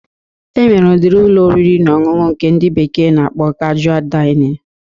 E nwere udiri Ụlọ oriri na ọṅụṅụ nke ndị bekee na-akpọ kajua Dainịn